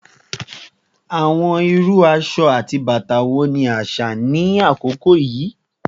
Awọn iru aṣọ ati bata wo ni aṣa ni akoko yii?